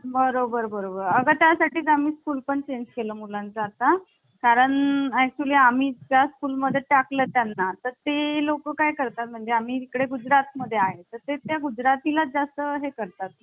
गोपीनाथ बालगडोई आणि A. V. Thakkar. आता यानंतर पुढील समिती आहे सुकाणू समिती तिचे अध्यक्ष होते Doctor राजेंद्रप्रसाद. खूप घोळ आहे मित्रांनो कारण काही पुस्तकांमध्ये के. एम. मुन्शी दिले आहे